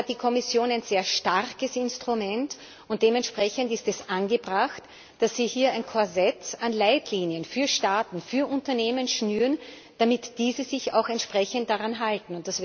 Hier hat die Kommission ein sehr starkes Instrument, und dementsprechend ist es angebracht, dass Sie hier ein Korsett an Leitlinien für Staaten, für Unternehmen schnüren, damit diese sich auch entsprechend daran halten.